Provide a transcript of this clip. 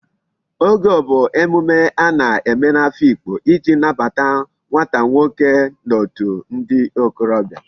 Ogo bu emume a na-eme n'Afikpo iji nnabata nwata nwoke n'otu ndi okorobia